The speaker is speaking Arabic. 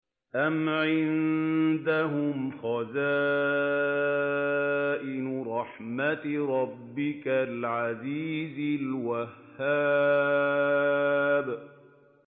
أَمْ عِندَهُمْ خَزَائِنُ رَحْمَةِ رَبِّكَ الْعَزِيزِ الْوَهَّابِ